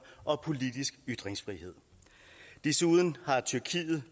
og politisk ytringsfrihed desuden har tyrkiet